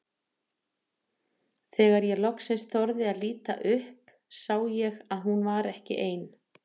Þegar ég loksins þorði að líta upp sá ég að hún var ekki ein.